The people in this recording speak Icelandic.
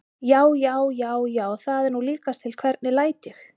JÁ, JÁ, JÁ, JÁ, ÞAÐ ER NÚ LÍKAST TIL, HVERNIG LÆT ÉG!